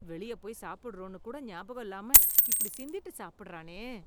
வெளிய போய் சாப்பிடுறோன்னு கூட ஞாபகம் இல்லாம இப்படி சிந்திட்டு சாப்பிடுறானே.